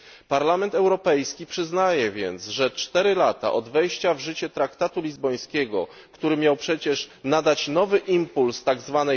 Parlament Europejski przyznaje więc, że 4 lata od wejścia w życie traktatu lizbońskiego, który miał przecież nadać nowy impuls tzw.